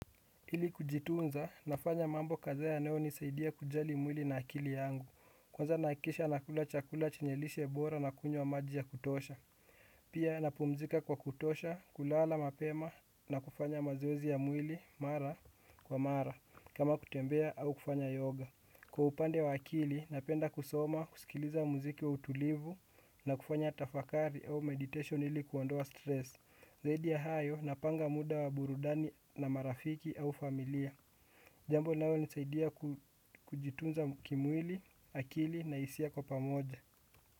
Ili kujitunza, nafanya mambo kadhaa yanayonisaidia kujali mwili na akili yangu kwanza nahakikisha nakula chakula chenye lishe bora na kunywa maji ya kutosha. Pia napumzika kwa kutosha, kulala mapema na kufanya mazoezi ya mwili mara kwa mara kama kutembea au kufanya yoga kwa upande wa akili, napenda kusoma, kusikiliza muziki wa utulivu. Na kufanya tafakari au meditation ili kuondoa stress zaidi ya hayo napanga muda wa burudani na marafiki au familia jambo linalonisaidia kujitunza kimwili, akili na hisia kwa pamoja.